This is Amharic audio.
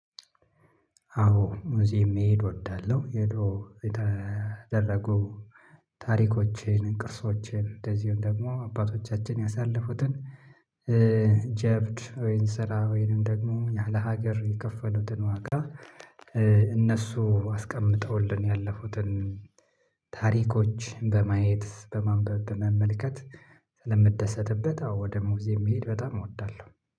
አዎ እዚህ የምሄድ እወዳለሁ። የድሮ የተደረጉ ታሪኮችን ቅርሶችን እንደዚሁም ደግሞ አባቶቻችን ያሳለፉትን ጀብድ ወይን ስራ ወይንም ደግሞ ያለ ሀገር የከፈሉትን ዋጋ። እነሱ አስቀምጠውልን ያለፉትን ታሪኮች በማየት በማንበብ በመመልከት ስለምደሰትበት። አዎ ደሞዜ የሚሄድ በጣም እወዳለሁ